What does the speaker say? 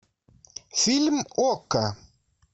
фильм окко